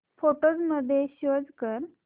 photos मध्ये save कर